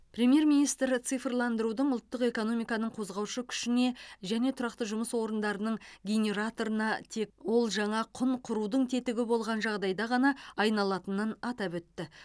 премьер министр цифрландырудың ұлттық экономиканың қозғаушы күшіне және тұрақты жұмыс орындарының генераторына тек ол жаңа құн құрудың тетігі болған жағдайда ғана айнала алатынын атап айтты